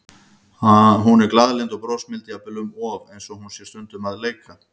Hún er glaðlynd og brosmild, jafnvel um of, eins og hún sé stundum að leika.